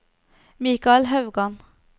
Michael Haugan